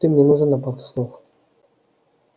ты мне нужен на пару слов